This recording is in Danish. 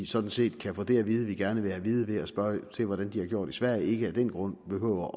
sådan set kan få det at vide vi gerne vil have at vide ved at se hvordan de har gjort i sverige af den grund behøver